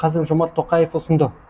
қасым жомарт тоқаев ұсынды